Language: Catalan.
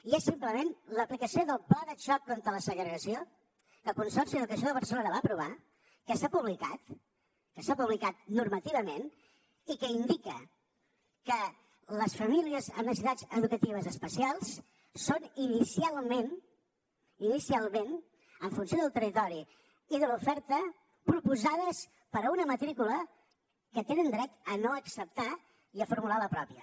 i és simplement l’aplicació del pla de xoc contra la segregació que el consorci d’educació de barcelona va aprovar que s’ha publicat que s’ha publicat normativament i que indica que les famílies amb necessitats educatives especials són inicialment inicialment en funció del territori i de l’oferta proposades per a una matrícula que tenen dret a no acceptar i a formular la pròpia